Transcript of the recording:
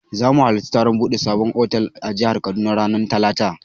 Za mu halarci taron buɗe sabon otal a jihar Kaduna ranar talata.